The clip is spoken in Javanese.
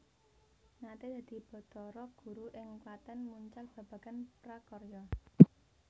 Naté dadi batara guru ing Klatèn mucal babagan prakarya